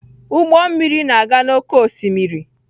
Ụgbọ mmiri na-aga n'oké osimiri.